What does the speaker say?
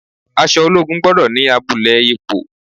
Aṣọ ológun gbọ́dọ̀ ni abulẹ ipò.